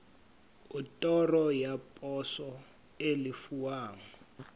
otoro ya poso e lefuwang